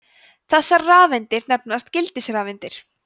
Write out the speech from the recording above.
þessar rafeindir nefnast gildisrafeindir